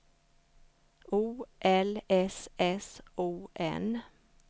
O L S S O N